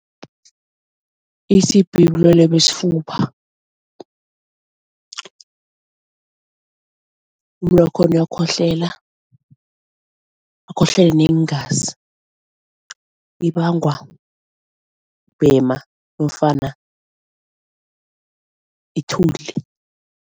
I-T_B bulwelwe besifuba, umuntu wakhona uyakhohlela, akhohlele neengazi. Ibangwa kubhema nofana ithuli.